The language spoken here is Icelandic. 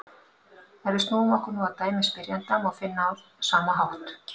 Ef við snúum okkur nú að dæmi spyrjanda má finna á sama hátt: